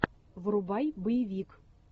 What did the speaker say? врубай боевик